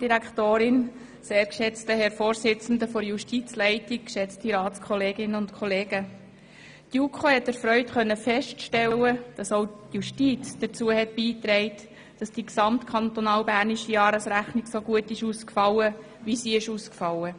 Die JuKo konnte erfreut feststellen, dass auch die Justiz zur positiven Jahresrechnung des Kantons Bern beigetragen hat.